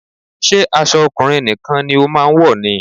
Ṣé aṣọ ọkùnrin nìkan ni o máa ń wọ̀ ni?